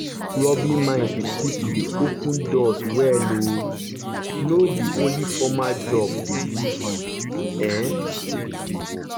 rubbing minds with people dey open doors wey um no be only formal job go give you. um